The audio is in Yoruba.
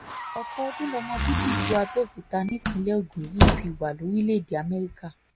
ọ̀pọ̀ ọdún lọmọ bíbí ìlú abẹ́ọ̀kútà nìpínlẹ̀ ogun yìí fi wà lórílẹ̀‐èdè amẹ́ríkà